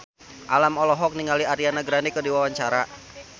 Alam olohok ningali Ariana Grande keur diwawancara